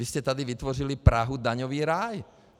Vy jste tady vytvořili Prahu - daňový ráj.